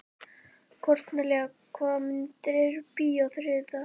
Kornelía, hvaða myndir eru í bíó á þriðjudaginn?